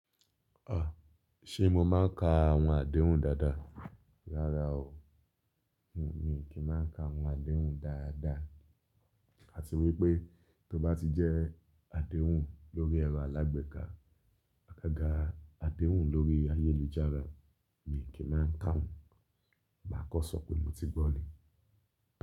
À, ṣe mo máa ń ka àwọn àdéhùn dáadáa? Rárá o, mi kì í máa ń ka àwọn àdéhùn dáadáa. Àti wípé tó bá ti jẹ́ àdéhùn lórí ẹ̀rọ alágbèéká, àgaga àdéhùn lórí ayélujára, mi kì í máa ń ka won, màá kan sọ̀p mo ti gbọ́ ni.